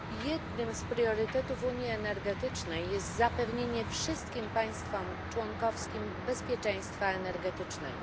Jednym z priorytetów unii energetycznej jest zapewnienie wszystkim państwom członkowskim bezpieczeństwa energetycznego.